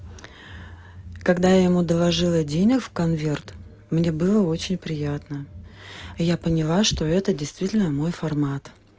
когда я ему доложила денег в конверт мне было очень приятно я поняла что это действительно мой формат